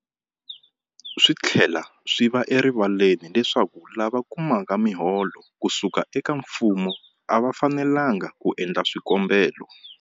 Swi tlhela swi va erivaleni leswaku lava kumaka miholo ku suka eka mfumo a va fanelanga ku endla swikombelo.